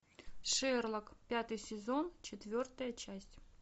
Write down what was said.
шерлок пятый сезон четвертая часть